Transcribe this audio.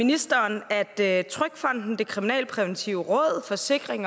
ministeren at det er et trygfonden det kriminalpræventive råd forsikring